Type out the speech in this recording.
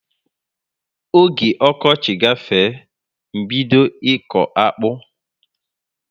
Ógè okochi gafee, m bido iko akpụ